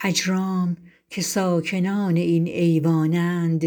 اجرام که ساکنان این ایوان اند